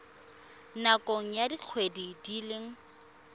nakong ya dikgwedi di le